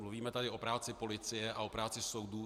Mluvíme tady o práci policie a o práci soudů.